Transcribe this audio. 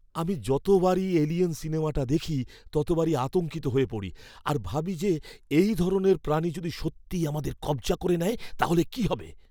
আমি যতবারই "এলিয়েন" সিনেমাটা দেখি, ততবারই আতঙ্কিত হয়ে পড়ি আর ভাবি যে এই ধরনের প্রাণী যদি সত্যিই আমাদের কব্জা করে নেয় তাহলে কি হবে!